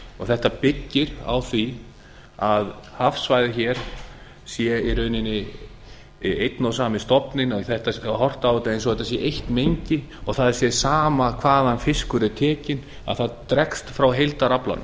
þetta byggir á því að hafsvæðið hér sé í rauninni einn og sami stofninn horft á þetta eins og þetta sé eitt mengi og það sé sama hvaðan fiskur er tekinn að þetta dregst frá